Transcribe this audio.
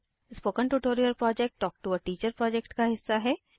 spoken tutorial project talk to a teacher project का हिस्सा है